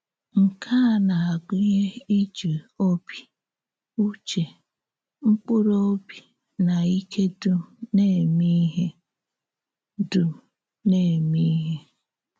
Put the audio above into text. Nke à na-agụnye ìjì òbì, ùchè, mkpùrù òbì, na ìké dùm na-émè íhè. dùm na-émè íhè.